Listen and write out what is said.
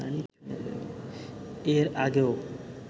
এর আগেও